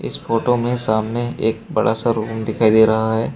इस फोटो में सामने एक बड़ा सा रूम दिखाई दे रहा है।